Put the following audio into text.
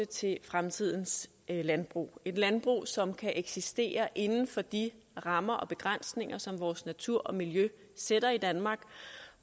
til fremtidens landbrug det et landbrug som kan eksistere inden for de rammer og begrænsninger som vores natur og miljø sætter i danmark